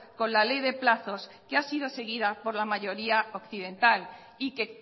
con la ley de plazos que ha sido seguida por la mayoría occidental y que